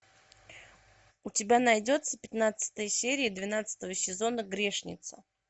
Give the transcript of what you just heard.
у тебя найдется пятнадцатая серия двенадцатого сезона грешница